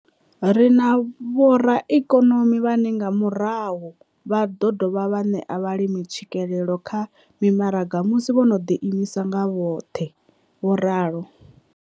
Ri na vhoraikonomi vhane nga murahu vha ḓo dovha vha ṋea vhalimi tswikelelo kha mimaraga musi vho no ḓiimisa nga vhoṱhe, vho ralo.